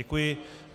Děkuji.